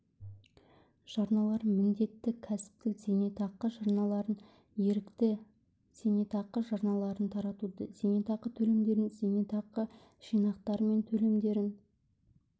жарналарын міндетті кәсіптік зейнетақы жарналарын ерікті зейнетақы жарналарын тартуды зейнетақы төлемдерін зейнетақы жинақтары мен төлемдерін